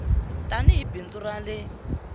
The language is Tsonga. tani hi bindzu ra le